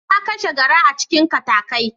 Na kashe garra a cikin katakai.